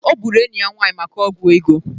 O gburu enyi ya nwanyị maka ọgwụ ego.